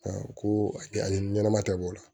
ko a kɛ ani ɲɛnama ta b'o la